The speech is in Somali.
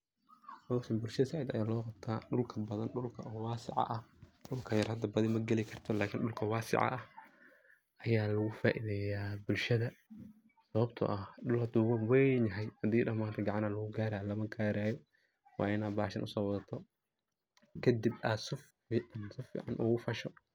Howshan bulshadha saiit aya lowqabta dulka badhaan dulka oo wasaaci aah dulka yaar hada magali karto lakin dulka waasaci ah aya loo faiidheya bulshadha sababto ah duul haduu weynin yahay hadii ladaha manta gacan aa lugu gaara lamagari karo waina bashaan usowadgata kadiib aa saf o saficinicin ugufasho.